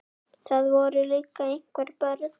Það voru líka einhver börn.